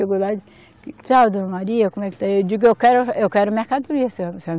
Dona Maria como é que está. Eu digo, eu quero, eu quero mercadoria